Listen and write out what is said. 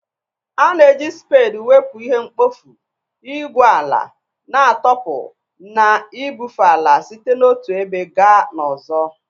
A na-eji spade wepụ ihe mkpofu, igwu ala na-atọpụ na ibufe ala site n'otu ebe gaa n'ọzọ